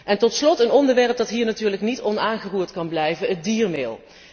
En tot slot een onderwerp dat hier natuurlijk niet onaangeroerd kan blijven het diermeel.